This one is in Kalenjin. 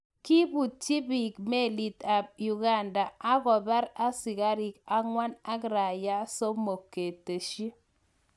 Kebutchi beek melit ap Uganda akopar askariik angwan ak raia somok ,kateschi.